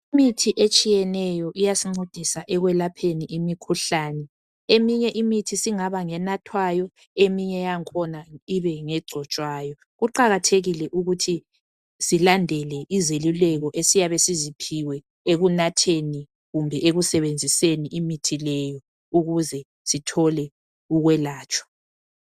Imithi etshiyeneyo iyasincedisa ekwelapheni imikhuhlane. Eminye imithi singaba ngenathwayo eminye yangukhona ibe ngegcotshwayo. Kuqakathekile ukuthi silandele izelulekho esiyabe siziphiwe ekunatheni kumbe ekusebenziseni imithi leyo ukuze sithole ukwelatshwa.